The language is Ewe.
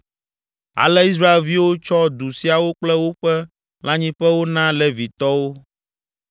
Ale Israelviwo tsɔ du siawo kple woƒe lãnyiƒewo na Levitɔwo.